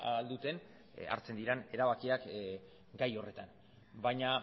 ahal duten hartzen diren erabakiak gai horretan baina